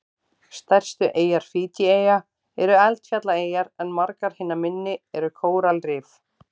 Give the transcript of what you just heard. Stærstu eyjar Fídjieyja eru eldfjallaeyjar en margar hinna minni eru kóralrif.